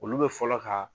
Olu bɛ fɔlɔ ka